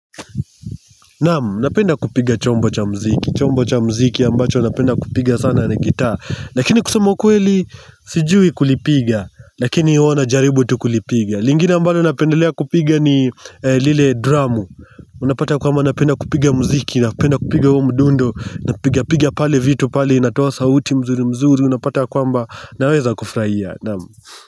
Namu, napenda kupiga chombo cha mziki chombo cha mziki ambacho napenda kupiga sana na gitaa Lakini kusema ukweli, sijui kulipiga Lakini huwa najaribu tu kulipiga lingine ambalo napendelea kupiga ni lile drum Unapata kwamba napenda kupiga mziki Napenda kupiga huo mdundo Napiga piga pale vitu pale inatoa sauti mzuri mzuri Unapata kwamba naweza kufraia Namu.